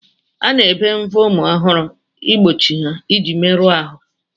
A na-ebe mbọ ụmụ ọhụrụ igbochi ha iji ya meru onwe ha ahụ.